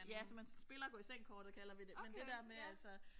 Ja så man så spiller gå i seng kortet kalder vi det men det der med altså